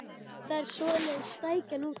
Það er svoleiðis stækjan út úr honum!